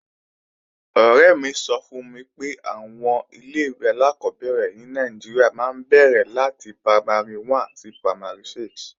Ọ̀rẹ́ mi sọ fún mi pé àwọn ilé-ìwé alákọ́bẹ̀rẹ̀ ní Nàìjíríà máa ń bẹ̀rẹ̀ láti Primary 1 sí Primary 6